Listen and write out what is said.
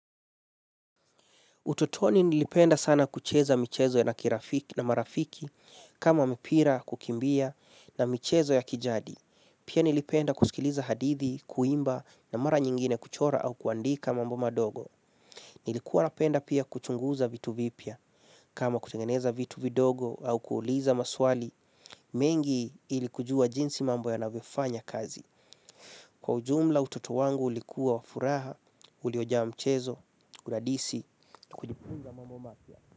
Utotoni nilipenda sana kucheza michezo na marafiki kama mpira kukimbia na michezo ya kijadi. Pia nilipenda kusikiliza hadithi, kuimba na mara nyingine kuchora au kuandika mambo madogo. Nilikuwa napenda pia kuchunguza vitu vipya kama kutengeneza vitu vidogo au kuuliza maswali. Mengi ili kujua jinsi mambo yanavyo fanya kazi. Kwa ujumla utoto wangu ulikuwa wa furaha, uliojaa mchezo, uradisi.